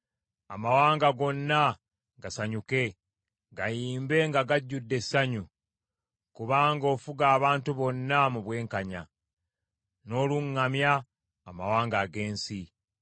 Amawanga gonna gasanyuke, gayimbe nga gajjudde essanyu. Kubanga ofuga abantu bonna mu bwenkanya, n’oluŋŋamya amawanga ag’ensi.